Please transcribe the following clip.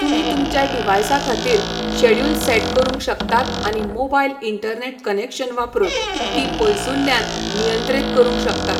तुमी तुमच्या डिव्हाइसाखातीर शॅड्यूल सेट करूंक शकतात आनी मोबाईल इंटरनेट कनेक्शन वापरून तीं पयसुल्ल्यान नियंत्रीत करूंक शकतात